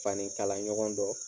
Fani kala ɲɔgɔn dɔ.